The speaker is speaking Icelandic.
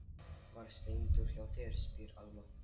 Var Steindór hjá þér, spyr Alma.